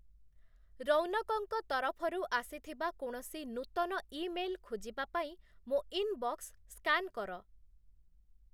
ରୋୖନକଙ୍କ ତରଫରୁ ଆସିଥିବା କୌଣସି ନୂତନ ଇମେଲ୍‌ ଖୋଜିବା ପାଇଁ ମୋ' ଇନବକ୍ସ ସ୍କାନ୍ କର ।